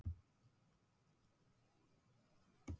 Guð minn almáttugur, stundi hún grátandi.